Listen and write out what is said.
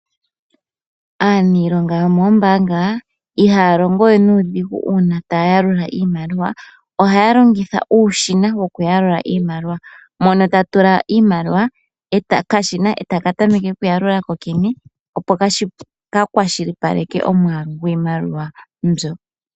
Aaniilonga yomoombaanga ihaya longo we nuudhigu uuna taya yalula iimaliwa. Ohaya longitha uushina wokuyalula iimaliwa. Ohaa tula mo owala iimaliwa ko okashina otaka tameke okuyalula kokene, opo ka kwashilipaleke omwaalu gwiimaliwa mbyoka ya tulwa mo.